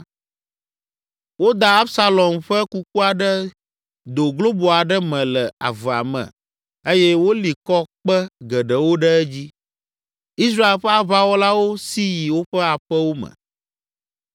Woda Absalom ƒe kukua ɖe do globo aɖe me le avea me eye woli kɔ kpe geɖewo ɖe edzi. Israel ƒe aʋawɔlawo si yi woƒe aƒewo me.